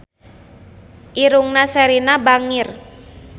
Irungna Sherina bangir